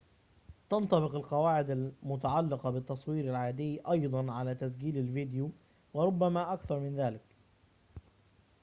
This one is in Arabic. تنطبق القواعد المتعلقة بالتصوير العادي أيضاً على تسجيل الفيديو وربما أكثر من ذلك